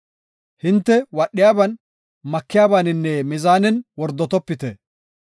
“Hinte wadhiyaban, makiyabaninne mizaanen wordotopite.